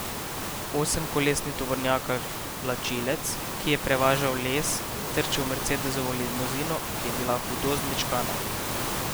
Osemkolesni tovornjak vlačilec, ki je prevažal les, je trčil v mercedesovo limuzino, ki je bila hudo zmečkana.